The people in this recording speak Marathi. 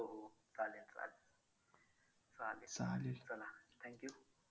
हो हो चालेल चालेल चला thank you